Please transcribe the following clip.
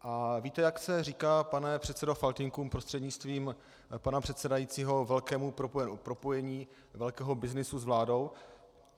A víte, jak se říká, pane předsedo Faltýnku prostřednictvím pana předsedajícího, velkému propojení velkého byznysu s vládou?